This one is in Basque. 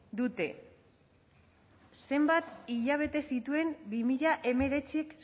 dutena zenbat hilabete zituen bi mila hemeretzik